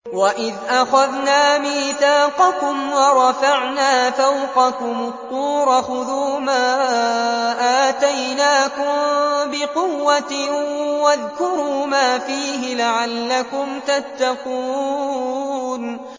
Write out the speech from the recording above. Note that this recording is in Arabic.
وَإِذْ أَخَذْنَا مِيثَاقَكُمْ وَرَفَعْنَا فَوْقَكُمُ الطُّورَ خُذُوا مَا آتَيْنَاكُم بِقُوَّةٍ وَاذْكُرُوا مَا فِيهِ لَعَلَّكُمْ تَتَّقُونَ